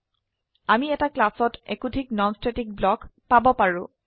আমি এটা ক্লাসত একোধিক নন স্ট্যাটিক ব্লক পাব পাৰো